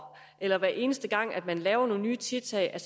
at det hver eneste gang man tager nogle nye tiltag